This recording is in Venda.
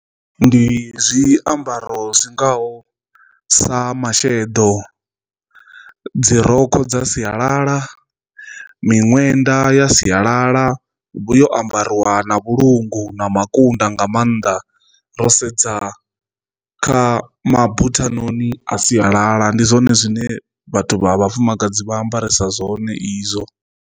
Ndi zwiambaro zwingaho sa masheḓo, dzi rokho dza sialala, miṅwenda ya sialala vhu yo ambariwa na vhulunga na makunda nga maanḓa ro sedza kha mabuthanoni a sialala ndi zwone zwine vhathu vha vhafumakadzi vha ambarisa zwone izwo.